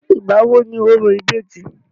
ìgbà wo ni orò ìbejì?